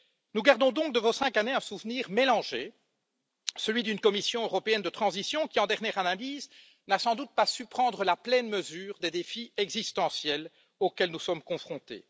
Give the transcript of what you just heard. Nous gardons donc de vos cinq années un souvenir mélangé, celui d'une Commission européenne de transition qui, en dernière analyse, n'a sans doute pas su prendre la pleine mesure des défis existentiels auxquels nous sommes confrontés.